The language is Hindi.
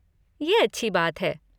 ये अच्छी बात है।